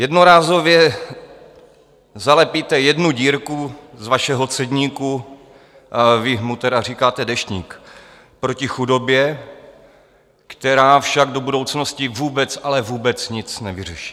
Jednorázově zalepíte jednu dírku z vašeho cedníku - vy mu tedy říkáte Deštník proti chudobě - která však do budoucnosti vůbec, ale vůbec nic nevyřeší.